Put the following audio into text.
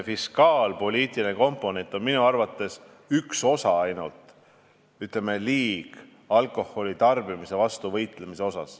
Fiskaalpoliitiline komponent on minu arvates ainult üks osa liigse alkoholitarbimise vastu võitlemisest.